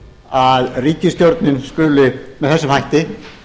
að ríkisstjórnin skuli með þessum hætti